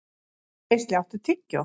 Geisli, áttu tyggjó?